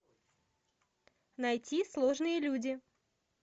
найти сложные люди